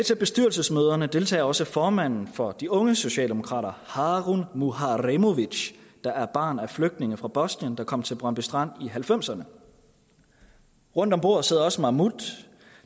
til bestyrelsesmøderne deltager også formanden for de unge socialdemokrater harun muharemovic der er barn af flygtninge fra bosnien der kom til brøndby strand i nitten halvfemserne rundt om bordet sidder også mahmut